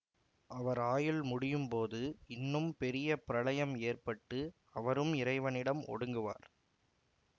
அவர் ஆயுள் முடியும்போது இன்னும் பெரிய பிரளயம் ஏற்பட்டு அவரும் இறைவனிடம் ஒடுங்குவார்